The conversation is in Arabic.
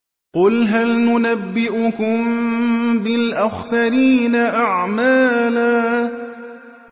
قُلْ هَلْ نُنَبِّئُكُم بِالْأَخْسَرِينَ أَعْمَالًا